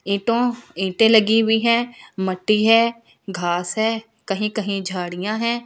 ईटों ईटें लगी हुई है मट्टी है घास है कहीं कहीं झाड़ियाँ है।